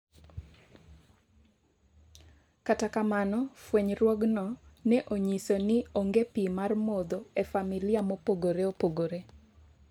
kata kamano, fwenyruogno ne onyiso ni onge pi mar modho e familia mopogore opogore